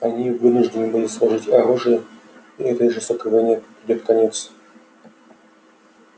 они вынуждены будут сложить оружие и этой жестокой войне придёт конец